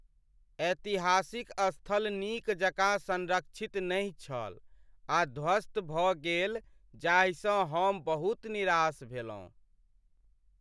ऐतिहासिक स्थल नीक जकाँ सँरक्षित नहि छल आ ध्वस्त भऽ गेल जाहिसँ हम बहुत निराश भेलहुँ।